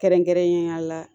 Kɛrɛnkɛrɛnnenya la